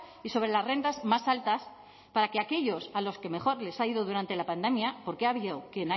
y sobre las rentas más altas para que aquellos a los que mejor les ha ido durante la pandemia porque ha habido a quien